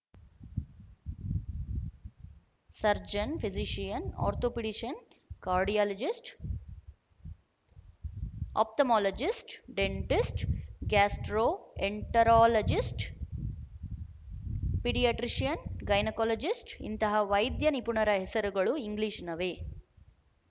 surgeon physician orthopaedician cardiologist ophthalmologist dentist gastroenterologist paediatrician gynaecologist ಇಂತಹ ವೈದ್ಯ ನಿಪುಣರ ಹೆಸರುಗಳು ಇಂಗ್ಲೀಶ್ನವೆ